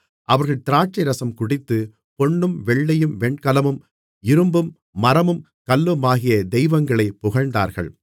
அவர்கள் திராட்சைரசம் குடித்து பொன்னும் வெள்ளியும் வெண்கலமும் இரும்பும் மரமும் கல்லுமாகிய தெய்வங்களைப் புகழ்ந்தார்கள்